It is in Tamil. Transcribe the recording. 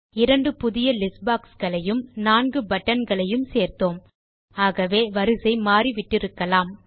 இரண்டு புதிய லிஸ்ட் boxகளையும் நான்கு buttonகளை சேர்த்தோம் ஆகவே வரிசை மாறி விட்டிருக்கலாம்